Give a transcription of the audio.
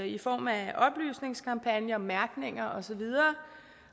i form af oplysningskampagner og mærkning og så videre